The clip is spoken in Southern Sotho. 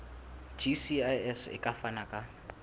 gcis e ka fana ka